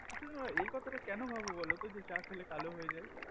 তোমরা এই কথা টা কেন ভাব বোলো তো যে চা খেলে মেয়েরা কালো হয়ে যাই